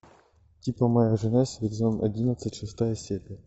типа моя жена сезон одиннадцать шестая серия